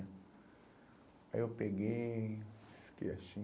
Aí eu peguei, fiquei assim...